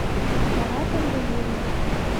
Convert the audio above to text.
маратом валерьевичем